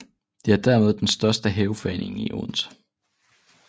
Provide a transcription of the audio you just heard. Den er dermed den største haveforening i Odense